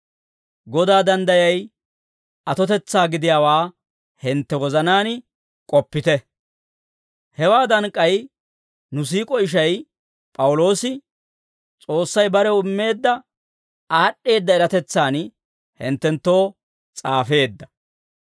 Godaa danddayay atotetsaa gidiyaawaa hintte wozanaan k'oppite; hewaadan k'ay nu siik'o ishay P'awuloosi, S'oossay barew immeedda aad'd'eedda eratetsan hinttenttoo s'aafeedda.